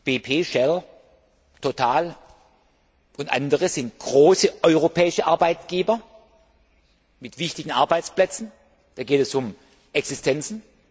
BP, Shell, Total und andere sind große europäische Arbeitgeber mit wichtigen Arbeitsplätzen, da geht es um Existenzen.